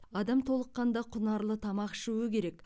адам толыққанды құнарлы тамақ ішуі керек